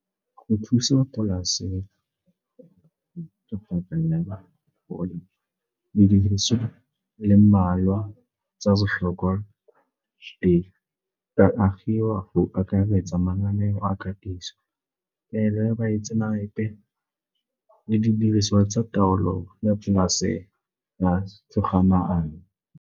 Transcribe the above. Go thusa polase didiriso di le mmalwa tsa botlhokwa tsa agiwa go akaretsa mananeo a katiso e be baitsenape le didiriswa tsa taolo ya polase ya togamaano.